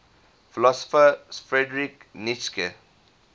philosopher friedrich nietzsche